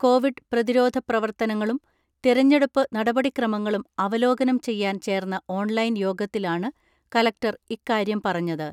Covid പ്രതിരോധ പ്രവർത്തനങ്ങളും തിരഞ്ഞെടുപ്പ് നടപടിക്രമങ്ങളും അവലോകനം ചെയ്യാൻ ചേർന്ന ഓൺലൈൻ യോഗത്തിലാണ് കലക്ടർ ഇക്കാര്യം പറഞ്ഞത്.